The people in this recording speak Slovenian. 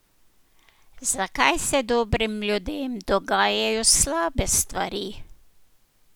Zakaj se dobrim ljudem dogajajo slabe stvari?